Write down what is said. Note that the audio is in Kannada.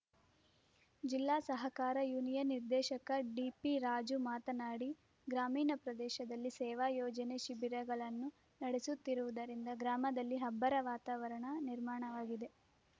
ಜಿಲ್ಲಾ ಸಹಕಾರ ಯೂನಿಯನ್ ನಿರ್ದೇಶಕ ಡಿಪಿರಾಜು ಮಾತನಾಡಿ ಗ್ರಾಮೀಣ ಪ್ರದೇಶದಲ್ಲಿ ಸೇವಾ ಯೋಜನೆ ಶಿಬಿರಗಳನ್ನು ನಡೆಸುತ್ತಿರುವುದರಿಂದ ಗ್ರಾಮದಲ್ಲಿ ಹಬ್ಬರ ವಾತಾವರಣ ನಿರ್ಮಾಣವಾಗಿದೆ